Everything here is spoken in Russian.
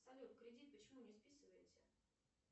салют кредит почему не списывается